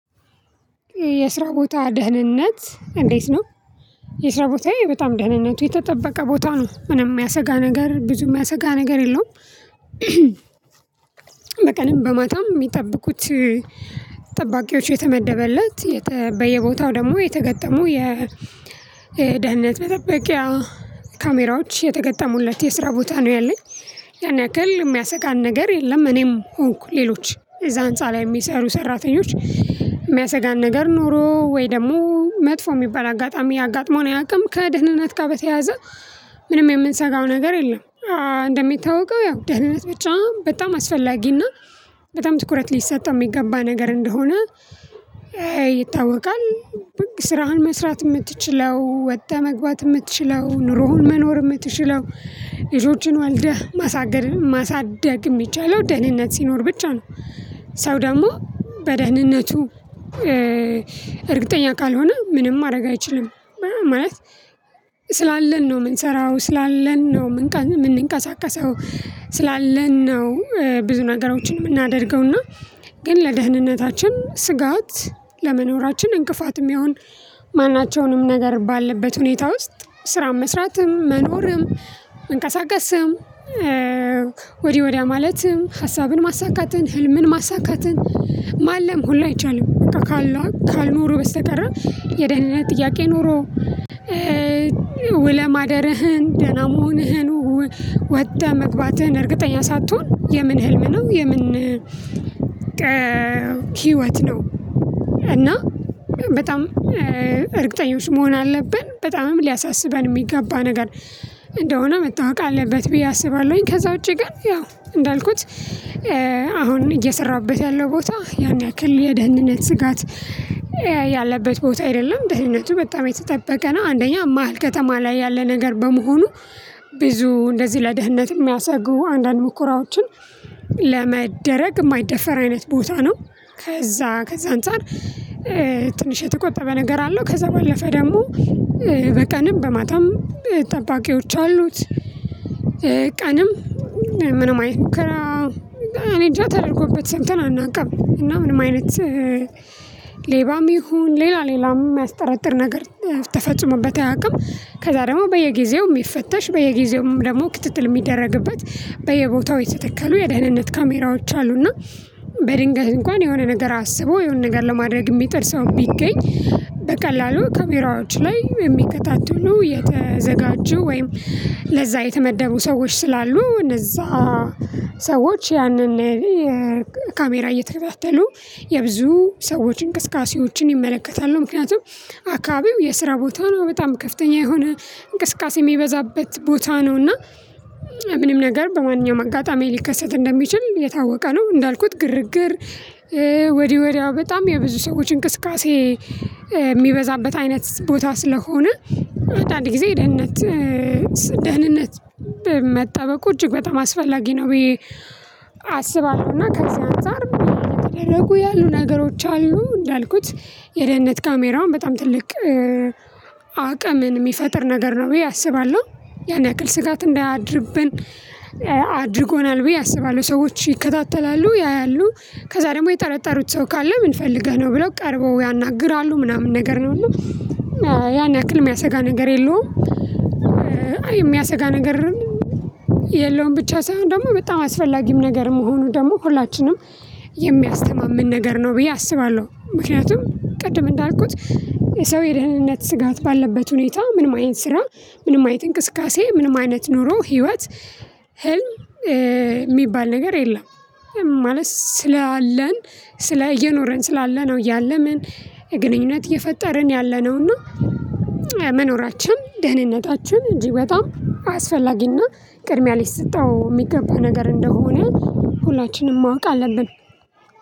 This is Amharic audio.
የስራ ቦታ ደህንነት እንዴት ነው? የስራ ቦታዬ በጣም ደህንነቱ የተጠበቀ ቦታ ነው ምንም ሚያሰጋ ነገር ብዙ ሚያሰጋ ነገር የለውም። በቀንም በማታም ሚጠብቁት። ጠባቂዎች የተመደበለት በየቦታው ደሞ የተገጠሙ የደህንነት መጠበቂያ ካሜራዎች የተገጠሙለት የስራ ቦታ ነው ያለኝ። ያን ያክል እሚያሰጋን ነገር የለም እኔም ሆንኩ ሌሎች እዛ ህንፃ ላይ ሚሰሩ ሰራተኞች። ሚያሰጋን ነገር ኖሮ ወይ ደሞ መጥፎ ሚባል አጋጣሚ አጋጥሞውን አያቅም ከደህንነት ጋ በተያያዘ። ምንም የምንሰጋው ነገር የለም። እንደሚታወቀው ያው ደህንነት ብቻ በጣም አስፈላጊና በጣም ትኩረት ሊሰጠው ሚገባ ነገር እንደሆነ ይታወቃል። ስራህን መስራት እምትችለው ወተህ መግባት እምትችለው ኑሮህን መኖር እምትችለው ልጆችን ወልደህ ማሳገድ ማሳደግ እሚችለው ደህንነት ሲኖር ብቻ ነው። ሰው ደሞ በደህንነቱ እርግጠኛ ካልሆነ ምንም ማረግ አይችልም። ማለት ስላለን ነው ምንሰራው ስላለን ነው ምንቀሳቀሰው። ስላለን ነው ብዙ ነገሮችን ምናደርገውና ግን ለደህንነታችን ስጋት ለመኖራችን እንቅፋትም ሚሆን። ማናቸውንም ነገር ባለበት ሁኔታ ውስጥ ስራም መስራትም መኖርም መንቀሳቀስም። ወዲህ ወዲያ ማለትም ሀሳብን ማሳካትን ህልምን ማሳካትን ማለም ሁላ አይቻልም በቃ ካልኖሩ በስተቀር። የደህንነት ጥያቄ ኖሮ ውለህ ማደርህን ደህና መሆንህን ወተህ መግባትህን እርግጠኛ ሳትሆን የምን ህልም ነው የምን ሂወት ነው። እና በጣም እርግጠኞች መሆን አለብን በጣምም ሊያሳስበን ሚገባ ነገር እንደሆነ መታወቅ አለበት ብዬ አስባለሁኝ። ከዛ ውጪ ግን ያው እንዳልኩት። አሁን እየሰራሁበት ያለው ቦታ ያን ያክል የደህንነት ስጋት ያለበት ቦታ አይደለም ደህንነቱ በጣም የተጠበቀ ነው። አንደኛ መሃል ከተማ ላይ ያለ ነገር በመሆኑ ብዙ እንደዚህ ለደህንነት እሚያሰጉ አንዳንድ ሙከራዎችን ለመደረግ እማይደፈር አይነት ቦታ ነው። ከዛ ከዛ አንፃር ትንሽ የተቆጠበ ነገር አለው። ከዛ በለፈ ደሞ በቀንም በማታም ጠባቂዎች አሉት። ቀንም ምንም አይነት ሙከራ እኔ እጃ ተደርጎበት ሰምተን አናቅም እና ምንም አይነት። ሌባም ይሁን ሌላ ሌላም ሚያስጠራጥር ነገር ተፈጽመበት አያቅም። ከዛ ደሞ በየጊዜውም ሚፈተሽ በየጊዜውም ደሞ ክትትል ሚደረግበት በየቦታው የተተከሉ የደህንነት ካሜራዎች አሉና። በድንገት እንኳን የሆነ ነገር አስቦ የሆነ ነገር ለማድረግ እሚጥር ሰው ቢገኝ። በቀላሉ ካሜራዎች ላይ የሚከታተሉ የተዘጋጀው ወይም ለዛ የተመደቡ ሰዎች ስላሉ እነዛ ሰዎች ያንን ካሜራ እየተከታተሉ የብዙ ሰዎች እንቅስቃሴዎችን ይመለከታሉ። ምክንያቱም አካባቢው የስራ ቦታ ነው በጣም ከፍተኛ የሆነ እንቅስቃሴ ሚበዛበት ቦታ ነው። እና ምንም ነገር በማንኛውም አጋጣሚ ሊከሰት እንደሚችል የታወቀ ነው። እንዳልኩት ግርግር ወዲይ ወዲያ በጣም የብዙ ሰዎች እንቅስቃሴ እሚበዛበት አይነት ቦታ ስለሆነ። አንዳንድ ጊዜ ደህንነት ደህንነት መጠበቁ እጅግ በጣም አስፈላጊ ነው። ብዬ አስባለሁና ከዚህ አንፃር ምን እየተደረጉ ያሉ ነገሮች አሉ እንዳልኩት የደህንነት ካሜራውን በጣም ትልቅ አቅምን ሚፈጥር ነገር ነው ብዬ አስባለሁ። ያን ያክል ስጋት እንዳያድርብን አድርጎናል ብዬ አስባለሁ። ሰዎች ይከታተላሉ ያያሉ ከዛ ደሞ የጠረጠሩት ሰው ካለ ምንፈልገህ ነው ብለው ቀርበው ያናግራሉ ምናምን ነገር ነው። ያን ያክል ሚያሰጋ ነገር የለውም። አይ እሚያሰጋ ነገርም የለውም። ብቻ ሳይሆን ደሞ በጣም አስፈላጊም ነገር መሆኑ ደሞ ሁላችንም የሚያስተማምን ነገር ነው ብዬ አስባለሁ። ምክንያቱም ቅድም እንዳልኩት የሰው የደህንነት ስጋት ባለበት ሁኔታ ምንም አይነት ስራ ምንም አይነት እንቅስቃሴ ምንም አይነት ኑሮ ሂወት ህልም ሚባል ነገር የለም። ማለት ስላለን ስለ እየኖረን ስላለነው እያለምን ግንኙነት እየፈጠርን ያለነው። እና ደህንነታችን እጅግ በጣም አስፈላጊና ቅድሚያ ሊሰጠው ሚገባ ነገር እንደሆነ ሁላችንም ማወቅ አለብን።